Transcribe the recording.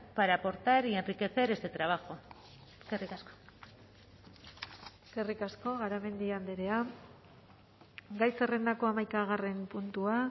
para aportar y enriquecer este trabajo eskerrik asko eskerrik asko garamendi andrea gai zerrendako hamaikagarren puntua